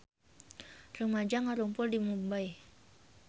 Rumaja ngarumpul di Mumbay